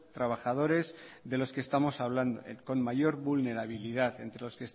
trabajadores de los que estamos hablando con mayor vulnerabilidad entre